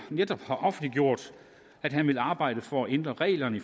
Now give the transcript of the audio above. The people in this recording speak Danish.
netop har offentliggjort at han vil arbejde for at ændre reglerne